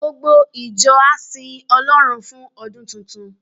Gbogbo ìjọ á sin Ọlọ́run fún ọdún tuntun.